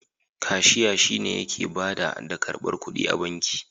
Kashiya shi ne yake bada da karbar ƙuɗi a banki.